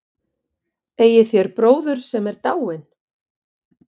Eigið þér bróður, sem er dáinn?